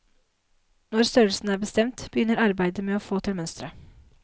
Når størrelsen er bestemt, begynner arbeidet med å få til mønsteret.